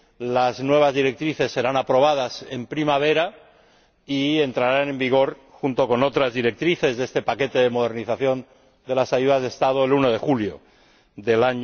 Las nuevas directrices serán aprobadas en primavera y entrarán en vigor, junto con otras directrices de este paquete de modernización de las ayudas de Estado, el 1 de julio de